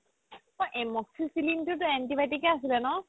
amoxicillin তো তো antibiotic য়ে আছিল ন